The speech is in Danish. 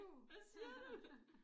Hvad siger du?